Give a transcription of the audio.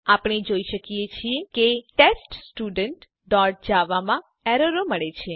આપણે જોઈ શકીએ છીએ કે teststudentજાવા માં એરરો મળે છે